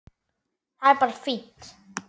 Það er bara fínt.